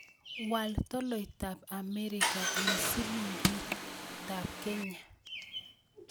Wal tolaitap Amerika eng' silingiitap Kenya